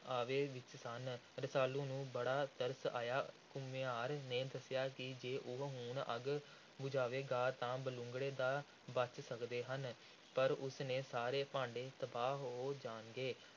ਆਵੇ ਵਿਚ ਸਨ। ਰਸਾਲੂ ਨੂੰ ਬੜਾ ਤਰਸ ਆਇਆ। ਘੁਮਿਆਰ ਨੇ ਦੱਸਿਆ ਕਿ ਜੇ ਉਹ ਹੁਣ ਅੱਗ ਬੁਝਾਵੇਗਾ, ਤਾਂ ਬਲੂੰਗੜੇ ਤਾਂ ਬਚ ਸਕਦੇ ਹਨ, ਪਰ ਉਸ ਦੇ ਸਾਰੇ ਭਾਂਡੇ ਤਬਾਹ ਹੋ ਜਾਣਗੇ।